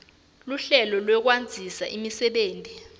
luhlelo lwekwandzisa imisebenti